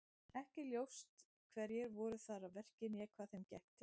Ekki er ljóst hverjir voru þar að verki né hvað þeim gekk til.